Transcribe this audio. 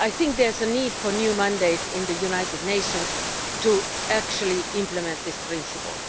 There is a need for a new mandate in the United Nations to actually implement this principle.